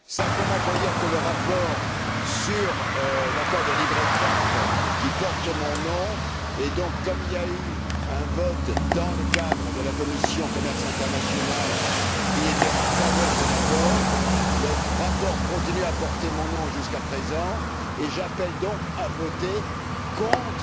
Je veux simplement dire que le rapport sur l'accord de libre échange porte mon nom, et comme il y a eu un vote, dans le cadre de la commission du commerce international, qui était en faveur de l'accord, le rapport continue à porter mon nom jusqu'à présent, et j'appelle à voter contre